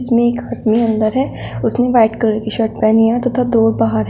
इसमें एक आदमी अंदर है। उसने व्हाइट कलर की शर्ट पहनी है तथा दो बाहर है।